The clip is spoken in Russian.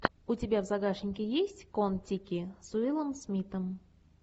у тебя в загашнике есть кон тики с уиллом смитом